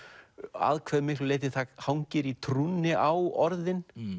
að hve miklu leyti það hangir í trúnni á orðin